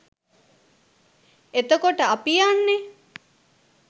එතකොට අපි යන්නේ